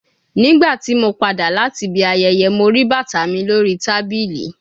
Nigbati mo pada lati ibi ayẹyẹ Mo rii bata mi lori tabili